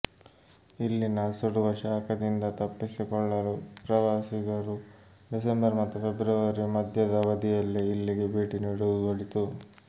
ಇಲ್ಲಿನ ಸುಡುವ ಶಾಖದಿಂದ ತಪ್ಪಿಸಿಕೊಳ್ಳಲು ಪ್ರವಾಸಿಗರು ಡಿಸೆಂಬರ್ ಮತ್ತು ಫೆಬ್ರುವರಿ ಮಧ್ಯದ ಅವಧಿಯಲ್ಲೇ ಇಲ್ಲಿಗೆ ಭೇಟಿ ನೀಡುವುದು ಒಳಿತು